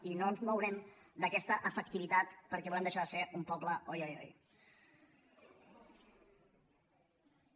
i no ens mourem d’aquesta efectivitat perquè volem deixar de ser un poble oi oi oi oi